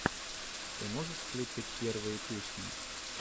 ты можешь включить первые песни